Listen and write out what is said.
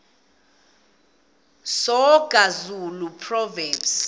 soga zulu proverbs